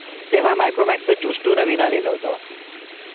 तेव्हा Micromax juice two नवीन आलेल होत.